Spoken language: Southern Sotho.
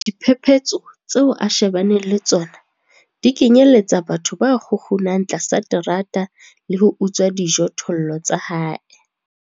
Diphephetso tseo a shebaneng le tsona di kenyeletsa batho ba kgukgunang tlasa terata le ho utswa dijothollo tsa hae.